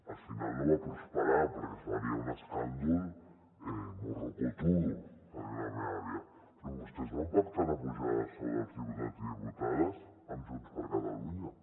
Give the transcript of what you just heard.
al final no va prosperar perquè seria un escàndol morrocotudo que diu la meva àvia però vostès van pactar una pujada de sou dels diputats i diputades amb junts per catalunya